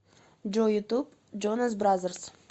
джой ютуб джонас бразерс